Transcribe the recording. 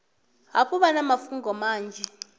hafhu vha na mafhungo manzhi